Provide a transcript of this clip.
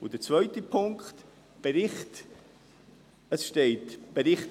Und der zweite Punkt: Bericht: